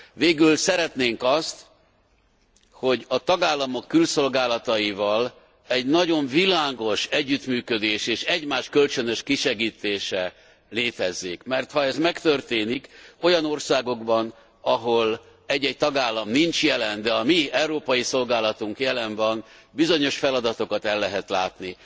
Végül szeretnénk azt, hogy a tagállamok külszolgálataival egy nagyon világos együttműködés és egymás kölcsönös kisegítése létezzék, mert ha ez megtörténik olyan országokban ahol egy egy tagállam nincs jelen, de a mi európai szolgálatunk jelen van, bizonyos feladatokat el lehet látni.